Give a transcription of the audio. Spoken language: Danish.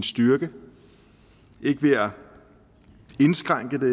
styrke ikke ved at indskrænke det